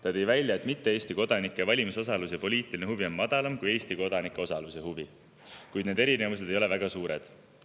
Ta tõi välja, et mitte Eesti kodanike valimisosalus ja poliitiline huvi on madalam kui Eesti kodanike osalus ja huvi, kuid need erinevused ei ole väga suured.